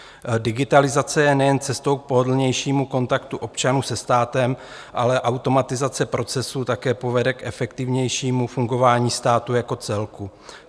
"Digitalizace je nejen cestou k pohodlnějšímu kontaktu občanů se státem, ale automatizace procesů také povede k efektivnějšímu fungování státu jako celku.